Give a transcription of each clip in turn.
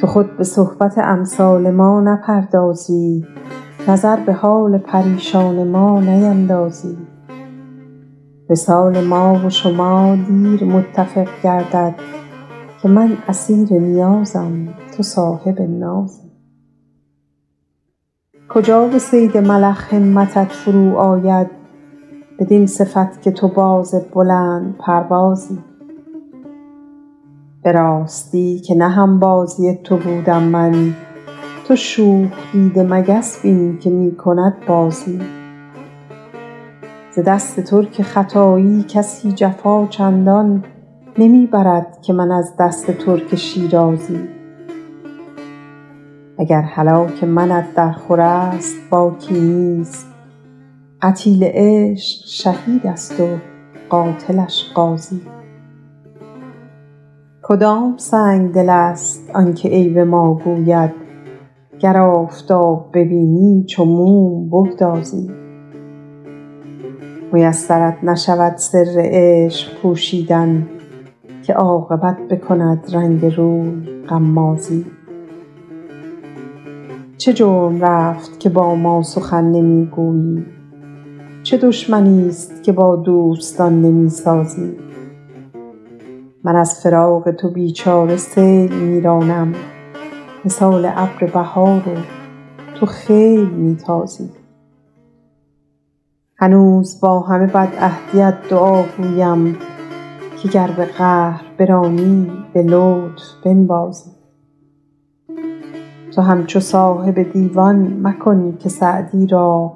تو خود به صحبت امثال ما نپردازی نظر به حال پریشان ما نیندازی وصال ما و شما دیر متفق گردد که من اسیر نیازم تو صاحب نازی کجا به صید ملخ همتت فرو آید بدین صفت که تو باز بلندپروازی به راستی که نه هم بازی تو بودم من تو شوخ دیده مگس بین که می کند بازی ز دست ترک ختایی کسی جفا چندان نمی برد که من از دست ترک شیرازی و گر هلاک منت درخور است باکی نیست قتیل عشق شهید است و قاتلش غازی کدام سنگدل است آن که عیب ما گوید گر آفتاب ببینی چو موم بگدازی میسرت نشود سر عشق پوشیدن که عاقبت بکند رنگ روی غمازی چه جرم رفت که با ما سخن نمی گویی چه دشمنیست که با دوستان نمی سازی من از فراق تو بی چاره سیل می رانم مثال ابر بهار و تو خیل می تازی هنوز با همه بدعهدیت دعاگویم که گر به قهر برانی به لطف بنوازی تو همچو صاحب دیوان مکن که سعدی را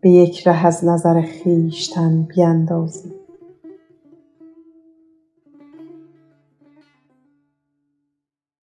به یک ره از نظر خویشتن بیندازی